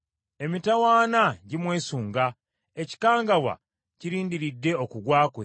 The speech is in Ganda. Emitawaana gimwesunga; ekikangabwa kirindiridde okugwa kwe.